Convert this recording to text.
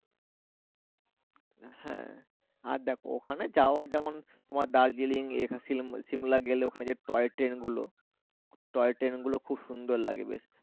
হ্যা আর দেখো ওখানে যাওয়া যেমন তোমার দার্জিলিং এখানে শিমলা গেলে ওখানে যে টয় ট্রেন গুলো, টয় ট্রেন গুলো খুব সুন্দর লাগে বেশ।